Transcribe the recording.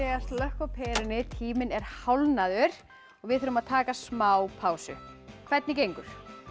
að slökkva á perunni tíminn er hálfnaður og við þurfum að taka smá pásu hvernig gengur